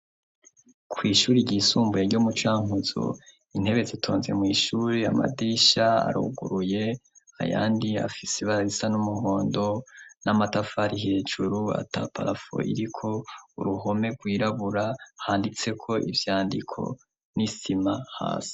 Kw'ishure ryisumbuye ryo mu Cankuzo, intebe zitonze mw'ishure, amadisha aruguruye ayandi afise ibara risa n'umuhondo n'amatafari hejuru ata parafo iriko, uruhome rwirabura handitseko ivyandiko n'isima hasi.